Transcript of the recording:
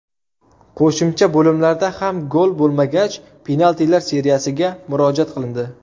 Qo‘shimcha bo‘limlarda ham gol bo‘lmagach, penaltilar seriyasiga murojaat qilindi.